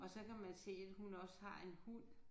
Og så kan man se at hun også har en hund